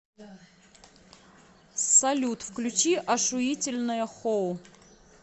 салют включи ошуительное хоу